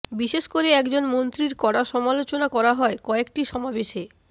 বিশেষ করে একজন মন্ত্রীর কড়া সমালোচনা করা হয় কয়েকটি সমাবেশে